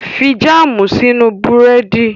Fi jáàmù sínú Búrẹ́dì!